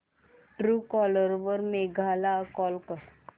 Truecaller वर मेघा ला call कर